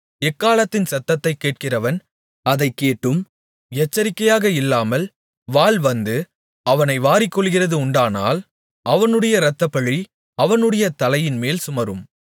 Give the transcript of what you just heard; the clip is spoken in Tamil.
எக்காளத்தின் சத்தத்தைக் கேட்கிறவன் அதைக் கேட்டும் எச்சரிக்கையாக இல்லாமல் வாள் வந்து அவனை வாரிக்கொள்ளுகிறது உண்டானால் அவனுடைய இரத்தப்பழி அவனுடைய தலையின்மேல் சுமரும்